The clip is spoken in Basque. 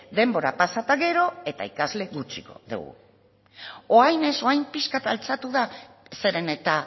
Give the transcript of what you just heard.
denbora pasa eta gero eta ikasle gutxiago dugu orain ez orain pixka bat altxatu da zeren eta